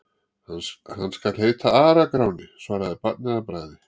Hann skal heita Ara-Gráni, svaraði barnið að bragði.